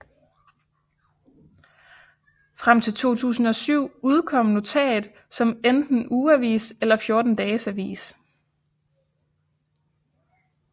Frem til 2007 udkom NOTAT som enten ugeavis eller 14 dages avis